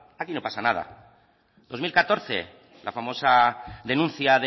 aquí no pasa nada dos mil catorce la famosa denuncia